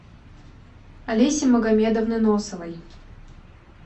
олеси магомедовны носовой